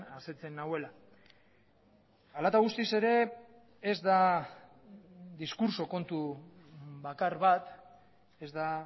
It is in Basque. asetzen nauela hala eta guztiz ere ez da diskurtso kontu bakar bat ez da